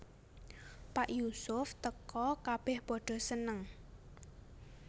Pas Yusuf teka kabèh padha seneng